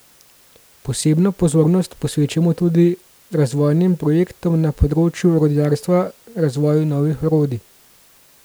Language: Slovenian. Posebno pozornost posvečamo tudi razvojnim projektom na področju orodjarstva razvoju novih orodij.